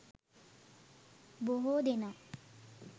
බොහෝ දෙනා